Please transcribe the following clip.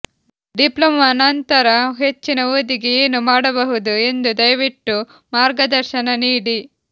diploma ನಂತರ ಹೆಚ್ಚಿನ ಓದಿಗೆ ಏನು ಮಾಡಬಹುದು ಎಂದು ದಯವಿಟ್ಟು ಮಾರ್ಗದರ್ಶನ ನೀಡಿ